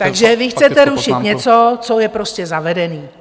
Takže vy chcete rušit něco, co je prostě zavedené.